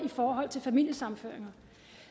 familiesammenføringer